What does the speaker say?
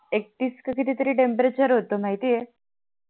एकतीस ते किती तरी temperature होतं माहिती आहे